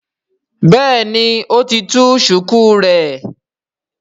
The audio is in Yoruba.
béèni o tí tú shuku rẹ.